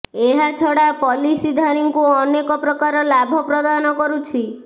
ଏହା ଛଡା ପଲିସିଧାରୀଙ୍କୁ ଅନେକ ପ୍ରକାର ଲାଭ ପ୍ରଦାନ କରୁଛି